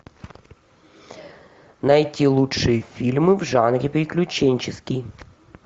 найти лучшие фильмы в жанре приключенческий